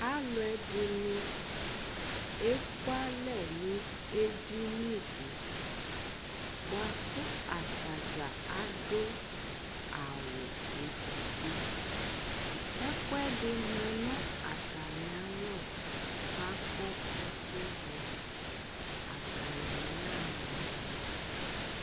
alò ɛdini eku alɛ no edini di boa kò atadza adu awu edigbo ɛkò ɛdi ma no atami alɔ k'akɔ ɛkò do atani ya ɣa ma alò